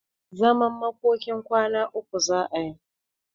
Zaman makokin kwana uku za'a yi.